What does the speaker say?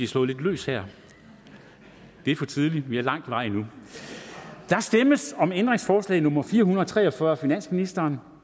slået lidt løs her det er for tidligt vi har lang vej endnu der stemmes om ændringsforslag nummer fire hundrede og tre og fyrre af finansministeren og